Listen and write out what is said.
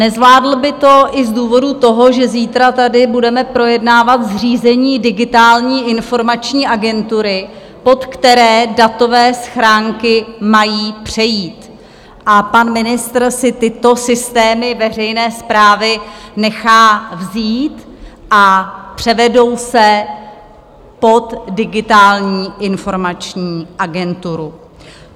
Nezvládl by to i z důvodu toho, že zítra tady budeme projednávat zřízení Digitální informační agentury, pod které datové schránky mají přejít, a pan ministr si tyto systémy veřejné správy nechá vzít a převedou se pod Digitální informační agenturu.